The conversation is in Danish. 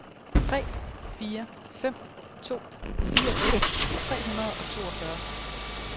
tre fire fem to fireogfirs tre hundrede og toogfyrre